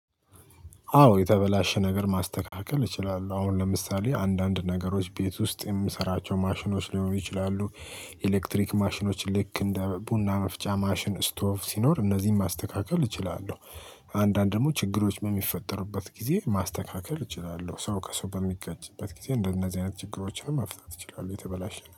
አዎ የተበላሸ ነገር ማስተካከል እችላለሁ አሁን ለምሳሌ አንዳንድ ነገሮች ቤት ውስጥ የምሰራቸው ማሽኖች ሊሆኑ ይችላሉ። ኤሌክትሪክ ማሽኖች ልክ እንደ ቡና መፍጫ ማሽን ስቶቭ ሲኖር እነዚህን ማስተካከል እችላለሁ። አንዳንድ ደግሞ ችግሮች በሚፈጠሩበት ጊዜ ማስተካከል እችላለሁ ሰው ከሰው በሚጋጭበት ጊዜ እንደነዚህ አይነት ችግሮችን መፍታት ይችላሉ። የተበላሸ